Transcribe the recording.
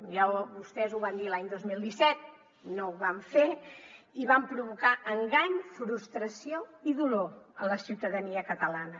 ja vostès ho van dir l’any dos mil disset no ho van fer i van provocar engany frustració i dolor a la ciutadania catalana